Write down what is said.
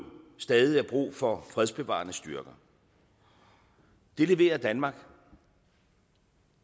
stadig er brug for fredsbevarende styrker det leverer danmark og